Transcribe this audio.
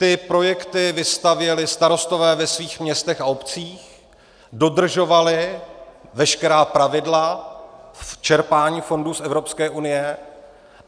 Ty projekty vystavěli starostové ve svých městech a obcích, dodržovali veškerá pravidla v čerpání fondů z Evropské unie.